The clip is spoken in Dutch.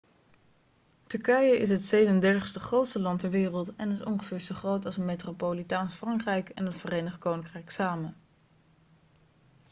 turkije is het 37e grootste land ter wereld en is ongeveer zo groot als metropolitaans frankrijk en het verenigd koninkrijk samen